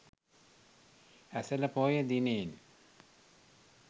Esala Poya දිනයෙන්